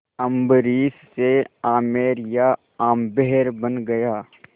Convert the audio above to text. अम्बरीश से आमेर या आम्बेर बन गया